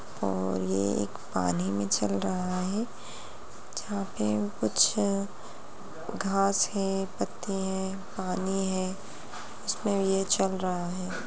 और ये एक पानी में चल रहा हैं जहां पे कुछ घास है पत्ते हैं पानी है उस मे ये चल रहा है।